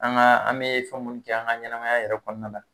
An ka, an be fɛn munnu kɛ an ka ɲanamaya yɛrɛ kɔnɔna na